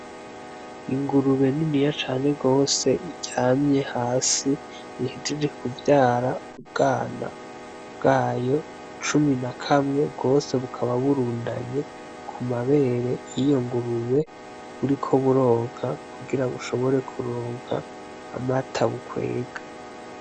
Ingurube niniya cange rwose iryamye hasi ihejije kuvyara ubwana bwayo cumi na kamwe bwose bukaba burundanye ku mabere yiyo ngurube buriko buronka kugira bushobore kuronka amata bukwega.